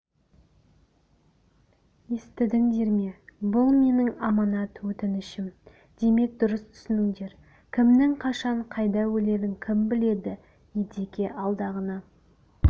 естідіңдер ме бұл менің аманат-өтінішім демек дұрыс түсініңдер кімнің қашан қайда өлерін кім біледі едеке алдағыны